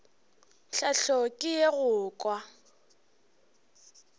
tlhahlo ke ye go kwa